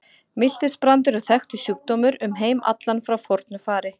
Miltisbrandur er þekktur sjúkdómur um heim allan frá fornu fari.